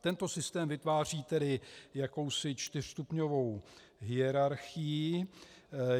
Tento systém vytváří tedy jakousi čtyřstupňovou hierarchii.